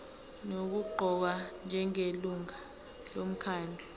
nokuqokwa njengelungu lomkhandlu